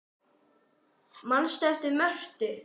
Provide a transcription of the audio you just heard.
Manstu eftir Mörtu?